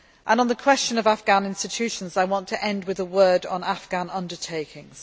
On the question of Afghan institutions, I want to end with a word on Afghan undertakings.